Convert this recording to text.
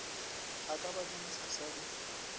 e ka ba ditshasa di